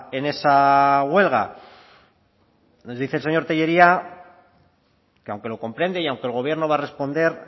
en esa huelga nos dice el señor tellería que aunque lo comprende y aunque el gobierno va a responder